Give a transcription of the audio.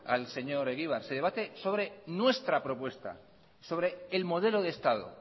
al señor egibar se debate sobre nuestra propuesta sobre el modelo de estado